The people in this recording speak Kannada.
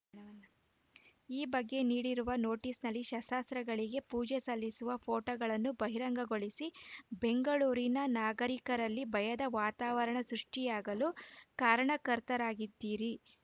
ಈ ಬಗ್ಗೆ ನೀಡಿರುವ ನೋಟಿಸ್‌ನಲ್ಲಿ ಶಸ್ತ್ರಾಸ್ತ್ರಗಳಿಗೆ ಪೂಜೆ ಸಲ್ಲಿಸುವ ಫೋಟೋಗಳನ್ನು ಬಹಿರಂಗಗೊಳಿಸಿ ಬೆಂಗಳೂರಿನ ನಾಗರಿಕರಲ್ಲಿ ಭಯದ ವಾತಾವರಣ ಸೃಷ್ಟಿಯಾಗಲು ಕಾರಣಕರ್ತರಾಗಿದ್ದೀರಿ